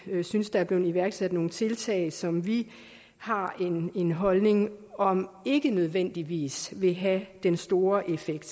synes der er blevet iværksat nogle tiltag som vi har en holdning om ikke nødvendigvis vil have den store effekt